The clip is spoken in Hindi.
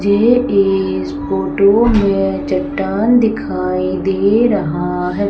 झे इस फोटो में चट्टान दिखाई दे रहा है।